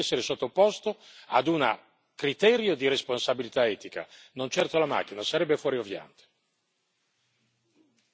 Allora è chi crea le macchine che deve essere sottoposto ad un criterio di responsabilità etica, non certo la macchina, sarebbe fuorviante.